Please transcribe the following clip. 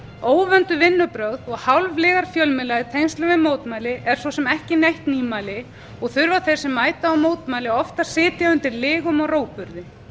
óvönduð vinnubrögð og hálflygar fjölmiðla í tengslum við mótmæli er svo á ekki neitt nýmæli og þurfa þeir sem mæta á mótmæli oft að sitja undir lygum og rógburði